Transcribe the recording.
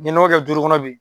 N bi nɔgɔ kɛ duuru kɔnɔ bi